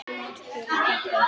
Margt ber að þakka.